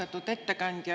Austatud ettekandja!